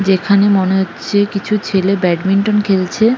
যেখানে মনে হচ্ছে কিছু ছেলে ব্যাডমিন্টন খেলছে ।